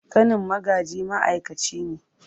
Ƙanin Magaji ma’aikaci ne.